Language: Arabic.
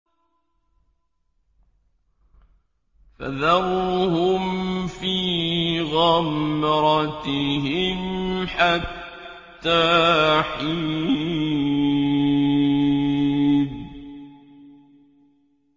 فَذَرْهُمْ فِي غَمْرَتِهِمْ حَتَّىٰ حِينٍ